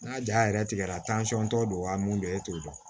N'a ja yɛrɛ tigɛra tɔ don a mun don e t'o dɔn